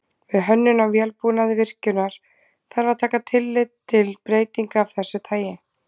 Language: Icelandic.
Við hönnun á vélbúnaði virkjunar þarf að taka tillit til breytinga af þessu tagi.